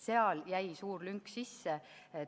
Seal jäi suur lünk sisse.